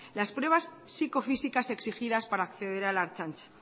las pruebas psicofísicas exigidas para acceder a la ertzaintza